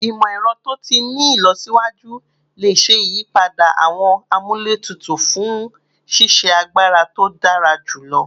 Imọ-ẹrọ to ti ni ilọsiwaju le ṣe iyipada awọn amúlétutù fun ṣiṣe agbara to dara julọ